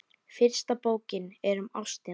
Fyrsta bókin er um ástina.